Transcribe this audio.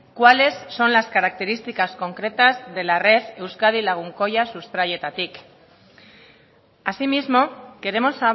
cuáles son las características concretas de la red euskadi lagunkoia sustraietatik asimismo queremos